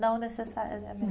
Não necessariamente.